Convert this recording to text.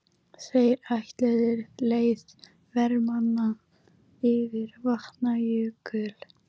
Þeir ætluðu leið vermanna yfir Vatnajökul.